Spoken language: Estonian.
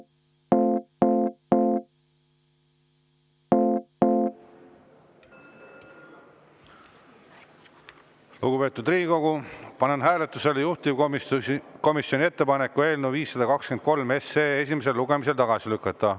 Lugupeetud Riigikogu, panen hääletusele juhtivkomisjoni ettepaneku eelnõu 523 esimesel lugemisel tagasi lükata.